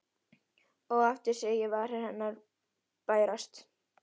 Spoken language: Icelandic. Og aftur sé ég varir hennar bærast.